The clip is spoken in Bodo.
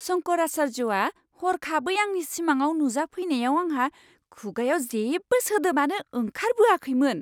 शंकराचार्यआ हरखाबै आंनि सिमांआव नुजाफैनायाव आंहा खुगायाव जेबो सोदोबानो ओंखारबोआखैमोन!